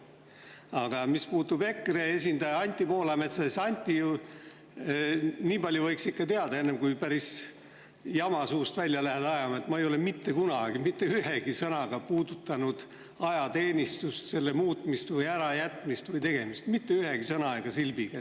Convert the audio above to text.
Aga mis puutub EKRE esindajasse Anti Poolametsa, siis, Anti, nii palju võiks ikka teada, enne kui päris jama lähed suust välja ajama, et ma ei ole mitte kunagi mitte ühegi sõnaga puudutanud ajateenistust, selle muutmist või ärajätmist või, mitte ühegi sõna ega silbiga.